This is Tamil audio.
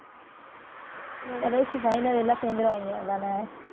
கடைசி final எல்லாம் சேர்ந்துருவாங்க, அதானே?